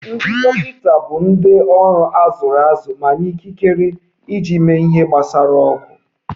Ndị dọkịta bụ ndị ọrụ a zụrụ azụ ma nye ikikere iji mee ihe gbasara ọgwụ